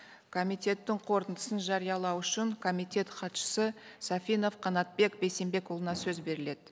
комитеттің қорытындысын жариялау үшін комитет хатшысы сафинов қанатбек бейсенбекұлына сөз беріледі